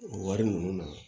O wari ninnu na